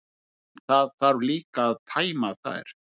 En það þarf líka að tæma þær.